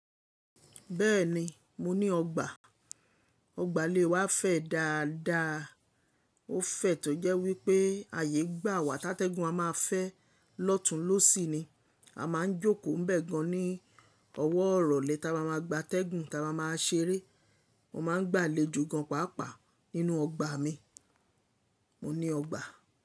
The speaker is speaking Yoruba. Bẹ́ẹ̀ni, mo ní ọgbà. Ọgbà lè wa fẹ̀ dáadáa. Ó fẹ̀ tó jẹ́ wípé ààyè gbà wà tátégùn a máa fẹ́ lọ́tùn lọ́sì ni. A máa ń jókòó nbẹẹ̀ gan ní ọwọ́ irọ̀lè tama ma gba tẹ́gùn tama ma ṣeré. Mo ma n gbàlejò gan pàápàá nínú ọgbà mi. Mo ní ọgbà.